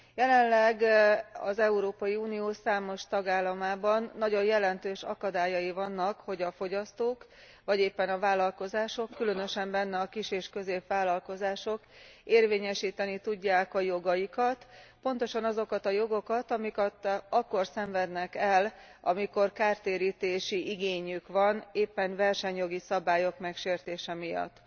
Jelenleg az Európai Unió számos tagállamában nagyon jelentős akadályai vannak, hogy a fogyasztók vagy éppen a vállalkozások, különösen benne a kis és középvállalkozások érvényesíteni tudják a jogaikat, pontosan azokat a jogokat, amiket akkor szenvednek el, amikor kártérítési igényük van, éppen versenyjogi szabályok megsértése miatt.